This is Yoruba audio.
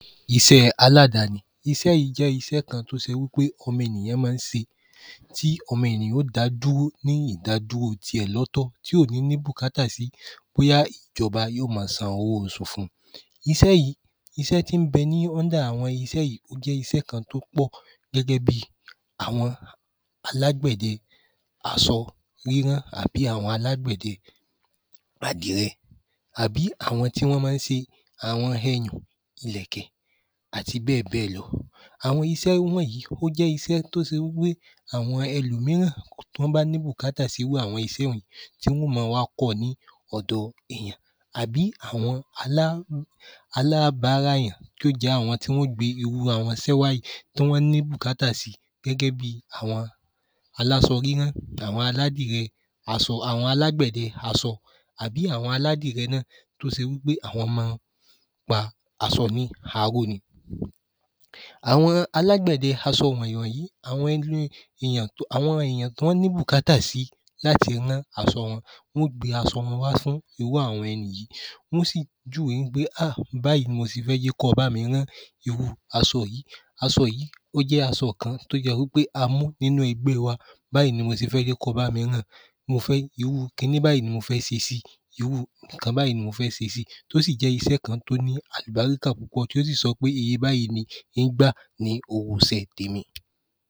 Isẹ́ aládani isẹ́ yìí jẹ́ iṣẹ́ kan tó ṣe wí pé ọmọ ènìyàn má ń se tí ọmọ ènìyàn ó dá dúró ní ìdádúró ti ẹ̀ lọ́tọ̀ tí ò ní ní bùkátà sí bóyá ìjọba ni ó ma san owó osù fun isẹ́ yìí iṣẹ́ tí ń bẹ ní ‘under’ àwọn iṣẹ́ yìí ó jẹ́ isẹ́ kan tó pọ̀ gẹ́gẹ́ bi àwọn alágbẹ̀dẹ asọ ríran àbí àwọn alágbẹ̀dẹ àdìrẹ àbí àwọn tí wọ́n má ń se àwọn ẹhìn ilẹ̀kẹ̀ àti bẹ́ẹ̀ bẹ́ẹ̀ lọ àwọn isẹ́ wọ̀nyí ó jẹ́ isẹ́ tó se wí pé àwọn ẹlòmíràn ọ́ ń bá ní bùkátà sí irú àwọn isẹ́ ún tí wọ́n ma wá kọ ní ọ̀dọ̀ èyàn àbí àwọn alábáráyàn tó jẹ́ àwọn tí wọ́n ó gbé àwọn isẹ́ wá yìí tí wọ́n ní bùkátà sí gẹ́gẹ́ bi àwọn alásọríran tàwọn aládìrẹ asọ àwọn alágbẹ̀dẹ asọ àbí àwọn aládìrẹ náà tó se wí pé àwọn ọmọ pa asọ́ ní aró ni àwọn alágbẹ̀dẹ asọ wọ̀n wọ̀n yìí àwọn ni àwọn ìyàn tí wọ́n ní bùkátà sí láti rán asọ wọn wọ́n ó gbé asọ́ wọn wá fún irú àwọn ẹni yìí wọ́n ó sì júwé wí pé hà! báyí ni mo se fẹ́ jẹ́ ko bámi rán irú asọ yìí asọ yìí ó jẹ́ asọ kan tó jẹ wí pé a mú ínú ẹgbẹ́ wa bayìí ni mo se fẹ́ jẹ́ ko bá mí rán-an mo fẹ́ irúu ki ní báyí ni mo fẹ́ se si irú ǹkan báyí ni mo fẹ se si tó sì jẹ́ isẹ́́ kan tó ní àlùbáríkà púpọ̀ tí ó sì sọ wí pé iye báyí ni ín gbà ní owó isẹ́ tèmi